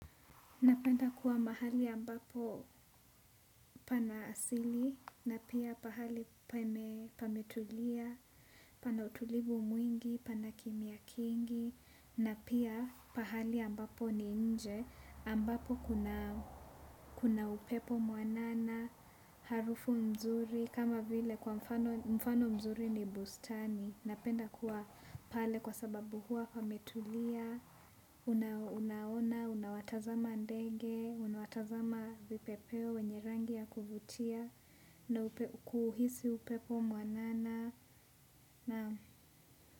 Napenda kuwa mahali ambapo pana asili, na pia pahali pametulia, pana utulivu mwingi, pana kimia kingi, na pia pahali ambapo ni nje, ambapo kuna upepo muanana, harufu mzuri, kama vile kwa mfano mzuri ni bustani. Napenda kuwa pale kwa sababu huwa pametulia, unaona, unawatazama ndege, unawatazama vipepeo wenye rangi ya kuvutia, na kuhisi upepo mwanana.